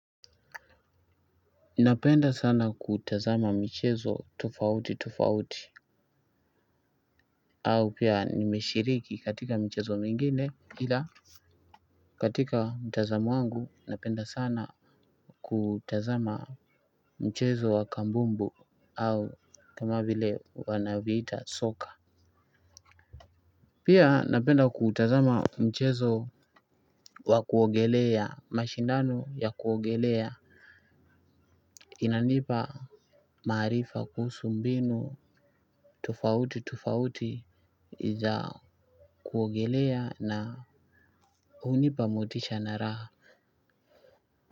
Napenda sana kutazama mchezo tufauti tufauti au pia nimeshiriki katika michezo mingine, ila katika mtazamo wangu napenda sana kutazama mchezo wa kambumbu, au kama vil wanavyoviita, soka. Pia napenda kutazama mashindano ya kuogelea. Inanipa maarifa kuhusu mbinu. Tofauti tofauti za kuogelea na hunipa motisha na raha.